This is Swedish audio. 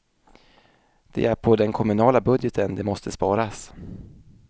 Det är på den kommunala budgeten det måste sparas.